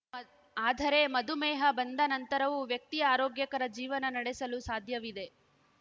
ಆದರೆ ಮಧುಮೇಹ ಬಂದ ನಂತರವೂ ವ್ಯಕ್ತಿ ಆರೋಗ್ಯಕರ ಜೀವನ ನಡೆಸಲು ಸಾಧ್ಯವಿದೆ